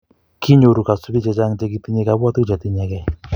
kinyoru kasubiik che chang' che kitinyei kabwotutik che tinyegei